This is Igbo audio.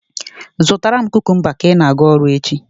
Zụtara m kukumba ka ị na-aga ọrụ echi.